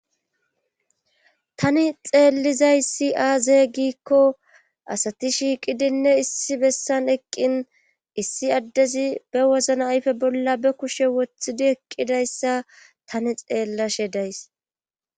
Tani xeellizayssi aaze gikko asati shiiqidinne issi bessan eqqin issi addezi be wozna ayfe bolla be kushe woththidi eqqidayssa tani xeellashe days.